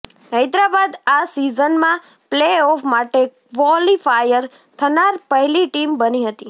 હૈદરાબાદ આ સીઝનમાં પ્લેઓફ માટે ક્વોલિફાયર થનાર પહેલી ટીમ બની હતી